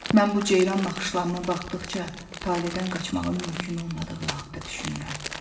Mən bu ceyran naxışlarına baxdıqca taleydən qaçmağın mümkün olmadığı haqda düşünürəm.